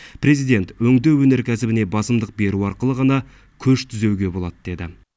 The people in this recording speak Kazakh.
президент өңдеу өнеркәсібіне басымдық беру арқылы ғана көш түзеуге болады деді